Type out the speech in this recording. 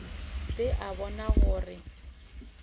a ba a bona gore